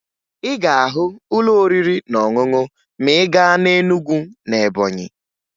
Ị ga-ahụ ụlọ oriri na ọṅụṅụ ma ị gaa na Enugwu na Ebọnyị